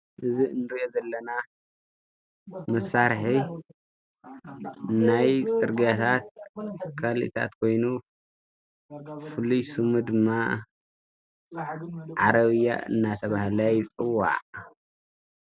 እዝ እንርእዮ ዘለና መሳርሒ ናይ ጽርጋያታት ካልኦትን ኮይኑ ፍሉይ ሱሙ ድማ ዓረብያ እናተብሃለ ይጽዋዕ።